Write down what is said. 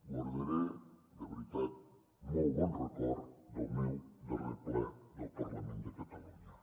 guardaré de veritat molt bon record del meu darrer ple del parlament de catalunya